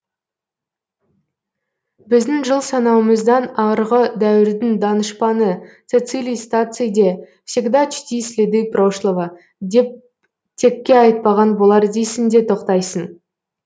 біздің жыл санауымыздан арғы дәуірдің данышпаны цецилий стаций де всегда чти следы прошлого деп текке айтпаған болар дейсің де тоқтайсың